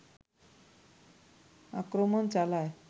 আক্রমণ চালায়